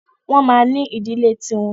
Wọ́n ma ní ìdílé ti wọn.